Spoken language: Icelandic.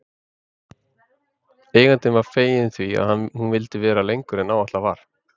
Eigandinn var feginn því að hún vildi vera lengur en ætlað var.